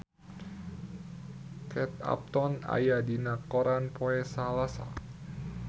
Kate Upton aya dina koran poe Salasa